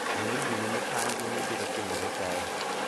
ang`o gini mo pangi ni biro timore kae